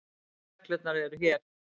Reglurnar eru hér.